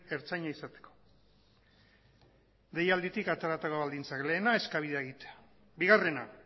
ertzaina izateko deialditik ateratako baldintza lehena eskabidea egitea bigarrena